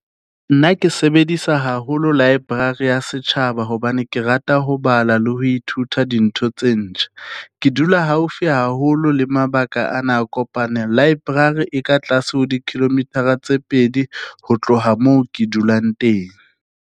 Nna ke sebedisa haholo library ya setjhaba hobane ke rata ho bala le ho ithuta dintho tse ntjha ke dula haufi haholo le mabaka ana a . Library e ka tlase ho di-kilometer-a tse pedi, ho tloha moo ke dulang teng.